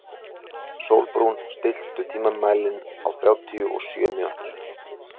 Sólrún, stilltu tímamælinn á þrjátíu og sjö mínútur.